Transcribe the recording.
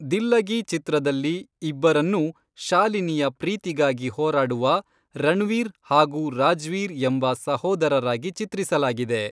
ದಿಲ್ಲಗಿ ಚಿತ್ರದಲ್ಲಿ ಇಬ್ಬರನ್ನೂ ಶಾಲಿನಿಯ ಪ್ರೀತಿಗಾಗಿ ಹೋರಾಡುವ ರಣ್ವೀರ್ ಹಾಗೂ ರಾಜ್ವೀರ್ ಎಂಬ ಸಹೋದರರಾಗಿ ಚಿತ್ರಿಸಲಾಗಿದೆ.